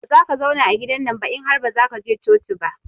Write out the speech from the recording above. Bazaka zauna a gidannan ba in har bazaka je coci ba.